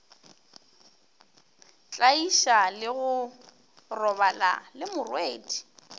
tlaiša le go robala lemorwedi